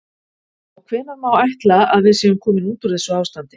Og hvenær má þá ætla að við séum komin út úr þessu ástandi?